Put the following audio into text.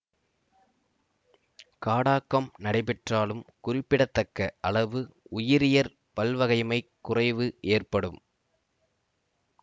காடாக்கம் நடைபெற்றாலும் குறிப்பிடத்தக்க அளவு உயிரியற் பல்வகைமைக் குறைவு ஏற்படும்